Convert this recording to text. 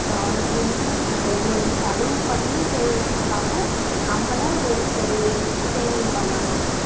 ஆஹ் investment இருந்தது செலவும் பண்ணி சேமிக்காம நம்மளும் ஒரு saving saving பண்ணனும்.